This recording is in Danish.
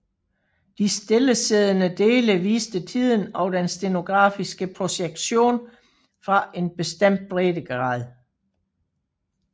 De stillesiddende dele viste tiden og den stereografiske projektion fra en bestemt breddegrad